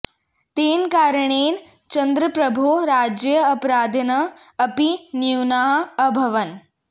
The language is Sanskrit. तेन कारणेन चन्द्रप्रभोः राज्ये अपराधिनः अपि न्यूनाः अभवन्